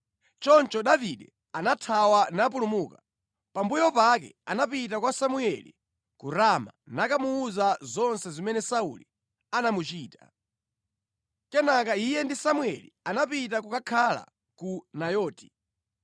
Choncho Davide anathawa napulumuka. Pambuyo pake anapita kwa Samueli ku Rama nakamuwuza zonse zimene Sauli anamuchita. Kenaka iye ndi Samueli anapita kukakhala ku Nayoti.